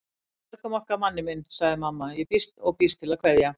Við björgum okkur Manni minn, segir mamma og býst til að kveðja.